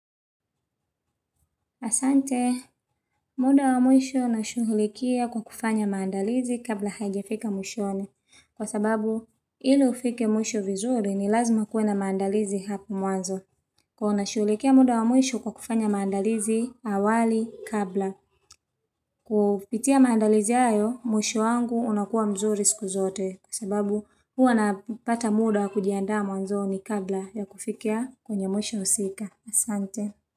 Asante, muda wa mwisho ninashughulikia kwa kufanya maandalizi kabla hajafika mwishowe. Kwa sababu, ili ufike mwisho vizuri ni lazima kuena maandalizi hapu mwanzo. Kwa unashuhulikia muda wa mwisho kwa kufanya maandalizi awali kabla. Kupitia maandalizi hayo, mwisho wangu unakuwa mzuri siku zote. Kwa sababu, hua napata muda kujiaandaa mwanzo ni kabla ya kufikia kwenye mwisho husika. Asante.